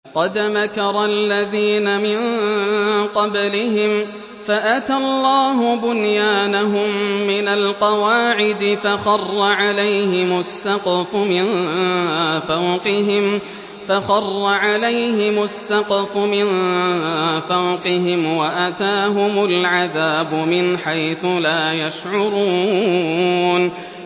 قَدْ مَكَرَ الَّذِينَ مِن قَبْلِهِمْ فَأَتَى اللَّهُ بُنْيَانَهُم مِّنَ الْقَوَاعِدِ فَخَرَّ عَلَيْهِمُ السَّقْفُ مِن فَوْقِهِمْ وَأَتَاهُمُ الْعَذَابُ مِنْ حَيْثُ لَا يَشْعُرُونَ